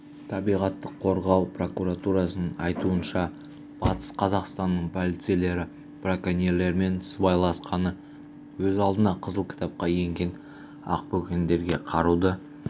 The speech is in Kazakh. табиғатты қорғау прокуратурасының айтуынша батыс қазақстанның полицейлері браконьерлермен сыбайласқаны өз алдына қызыл кітапқа енген ақбөкендерге қаруды